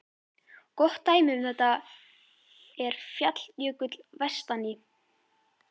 Gott dæmi um þetta er Falljökull vestan í